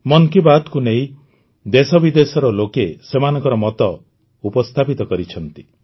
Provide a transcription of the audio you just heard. ମନ୍ କି ବାତ୍କୁ ନେଇ ଦେଶବିଦେଶର ଲୋକେ ସେମାନଙ୍କ ମତ ଉପସ୍ଥାପିତ କରିଛନ୍ତି